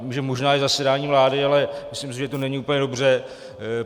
Vím, že možná je zasedání vlády, ale myslím si, že to není úplně dobře.